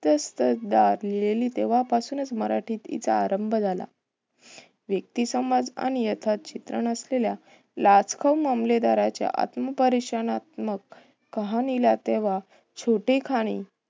लिहलेली तेव्हा पासूनच मराठीत तिचा आरंभ झाला. व्यक्तीसमज आणि यथाच चित्रण असलेल्या लाचखोर मामलेदाराच्या आत्मपरीक्षनात्मक कहाणी ला तेव्हा छोटे खाणी